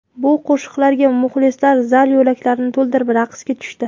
Bu qo‘shiqlarga muxlislar zal yo‘laklarini to‘ldirib raqsga tushdi.